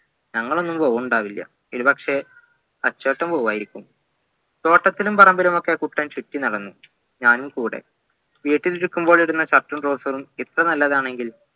ഞങ്ങളൊന്നും പോവിണ്ടവില്ല ഒരുപക്ഷെ തച്ചുവേട്ടൻ പോവുയായിരിക്കും തോട്ടത്തിലും പറമ്പിലും കുട്ടൻ ചുറ്റിനടന്നു ഞാനും കൂടെ വീട്ടിലിരിക്കുമ്പോൾ ഇടുന്ന shirt ഉം trouser ഉം ഇത്രനല്ലതാണെങ്കിൽ